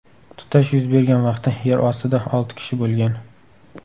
Tutash yuz bergan vaqtda yer ostida olti kishi bo‘lgan.